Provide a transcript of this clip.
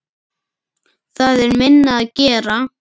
Það er minna að gera.